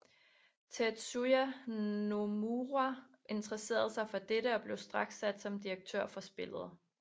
Tetsuya Nomura interesserede sig for dette og blev straks sat som direktør for spillet